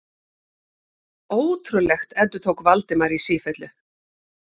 Ótrúlegt endurtók Valdimar í sífellu.